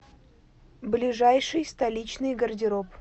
ближайший столичный гардероб